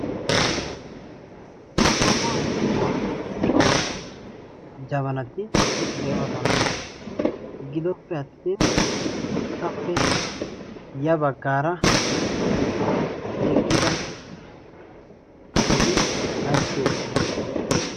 Ha sohuwan cora jabanati de''oosona gidoppe attin appe ya baggara eqqida asati ayssi eqqidoonaa?